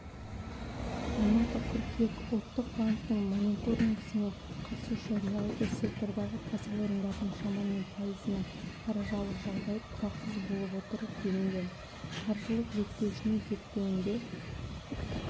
алматы қыркүйек ұлттық банктің мониторингісіне қатысушы реалды сектордағы кәсіпорындардың шамамен пайызының қаржылық жағдайы тұрақсыз болып отыр делінген қаржылық реттеушінің зерттеуінде